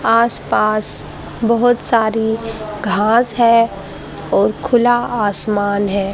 आस पास बहोत सारी घास है और खुला आसमान है।